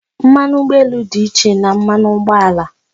Mmanụ ụgbọelu dị iche na mmanụ ụgbọala